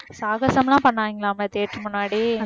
சாகசம்லாம் பண்ணாங்களாமே stage முன்னாடி